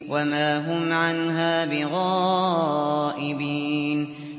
وَمَا هُمْ عَنْهَا بِغَائِبِينَ